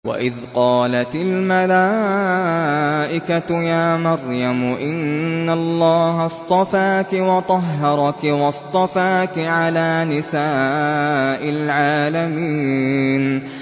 وَإِذْ قَالَتِ الْمَلَائِكَةُ يَا مَرْيَمُ إِنَّ اللَّهَ اصْطَفَاكِ وَطَهَّرَكِ وَاصْطَفَاكِ عَلَىٰ نِسَاءِ الْعَالَمِينَ